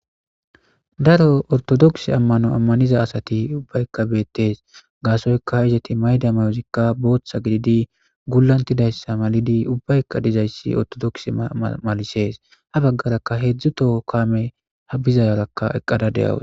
Daro ortodokise amano amanizayti asati ubbayka betes gasoyka izeti mayida mayozikka botha gididi bulatizaysa malidi ubayka dizays ortodokise malises ha bagaraka hedzu toho kamey